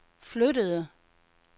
flyttede